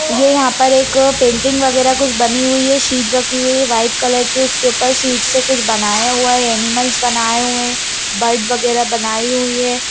ये यहाँ पर एक पेंटिंग वगैरह कुछ बनी हुई है शीट रखी हुई है वाइट कलर की उसके ऊपर शीड से कुछ बनाया गया है एनिमलस बनाए हुए है बर्ड वगैरह बनाई हुई है।